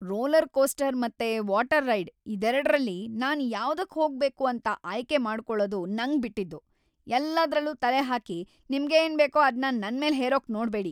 Roller coaster ಮತ್ತೆ water ride ಇದೆರಡ್ರಲ್ಲಿ ನಾನ್ ಯಾವ್ದಕ್‌ ಹೋಗ್ಬೇಕು ಅಂತ ಆಯ್ಕೆ ಮಾಡ್ಕೊಳದು ನಂಗ್‌ ಬಿಟ್ಟಿದ್ದು, ಎಲ್ಲದ್ರಲ್ಲೂ ತಲೆ ಹಾಕಿ ನಿಮ್ಗೇನ್ಬೇಕೋ ಅದ್ನ ನನ್ಮೇಲ್‌ ಹೇರೋಕ್‌ ನೋಡ್ಬೇಡಿ.